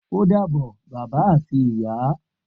O dàbọ̀ bàbá ati ìyá